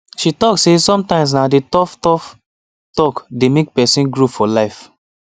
she talk say sometimes na the toughtough talk dey make person grow for life